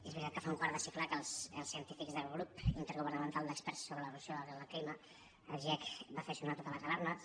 és veritat que fa un quart de segle que els científics del grup intergovernamental d’experts sobre l’evolució del clima el giecc va fer sonar totes les alarmes